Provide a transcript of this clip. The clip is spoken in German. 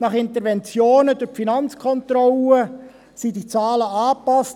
Nach Interventionen durch die FK wurde diese Zahl angepasst.